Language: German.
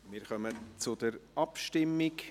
Wir kommen zur Abstimmung.